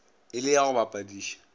e le ya go bapadiša